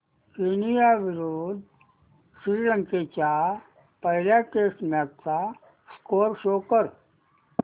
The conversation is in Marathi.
केनया विरुद्ध श्रीलंका च्या पहिल्या टेस्ट मॅच चा स्कोअर शो कर